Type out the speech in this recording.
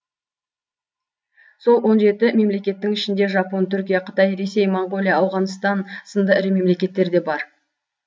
сол он жеті мемлекеттің ішінде жапон түркия қытай ресей монғолия ауғанстан сынды ірі мемлекеттер де бар